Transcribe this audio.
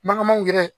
Mankan man gɛrɛ